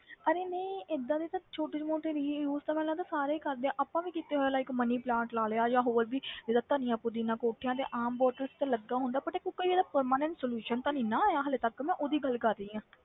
ਅਰੇ ਨਹੀਂ ਏਦਾਂ ਦੀ ਤਾਂ ਛੋਟੀ ਮੋਟੇ reuse ਤਾਂ ਮੈਨੂੰ ਲੱਗਦਾ ਸਾਰੇ ਹੀ ਕਰਦੇ ਆ, ਆਪਾਂ ਵੀ ਕੀਤੇ ਹੋਏ ਆ like money plant ਲਾ ਲਿਆ ਜਾਂ ਹੋਰ ਵੀ ਜਿੱਦਾਂ ਧਣੀਆ ਪੂਦੀਨਾ ਕੋਠਿਆਂ ਤੇ ਆਮ bottles ਤੇ ਲੱਗਾ ਹੁੰਦਾ but ਕੋਈ ਇਹਦਾ permanent solution ਤਾਂ ਨੀ ਨਾ ਆਇਆ ਹਾਲੇ ਤੱਕ ਮੈਂ ਉਹਦੀ ਗੱਲ ਕਰ ਰਹੀ ਹਾਂ,